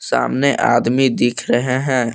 सामने आदमी दिख रहे हैं।